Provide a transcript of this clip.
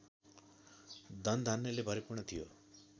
धनधान्यले भरिपूर्ण थियो